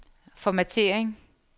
formattering